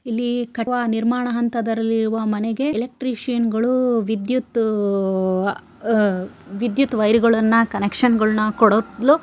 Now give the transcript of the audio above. ಇಲ್ಲಿ ಕಟ್ಟಡ ನಿರ್ಮಾಣ ಹಂತದಲ್ಲಿರುವ ಮನೆಗೆ ಎಲೆಕ್ಟ್ರಿಷಿಯನ್ ಗಳು ವಿದ್ಯುತ್ ಅಹ್ ವಿದ್ಯುತ್ ವೈರುಗಳನ್ನು ಕನೆಕ್ಷನ್ ಗಳನ್ನು ಕೊಡಲು.